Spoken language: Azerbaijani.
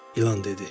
İlan dedi.